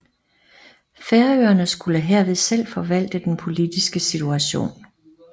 Færøerne skulle herved selv forvalte den politiske situation